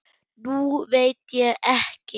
Nú veit ég ekki.